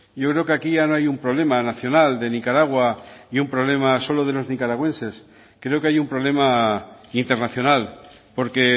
yo creo que aquí ya no hay un problema nacional de nicaragua y un problema solo de los nicaragüenses creo que hay un problema internacional porque